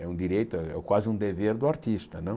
É um direito, é é quase um dever do artista, não?